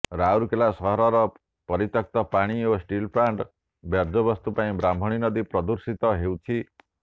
ରାଉରକେଲା ସହରର ପରିତ୍ୟକ୍ତ ପାଣି ଓ ଷ୍ଟିଲ ପ୍ଲାଣ୍ଟ୍ର ବର୍ଯ୍ୟବସ୍ତୁ ପାଇଁ ବ୍ରାହ୍ଣଣୀ ନଦୀ ପ୍ରଦୁଷିତ ହେଉଛି